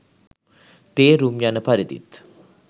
තේරුම් යන පරිදිත්